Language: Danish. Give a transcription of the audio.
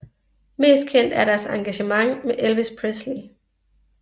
Mest kendt er deres engagement med Elvis Presley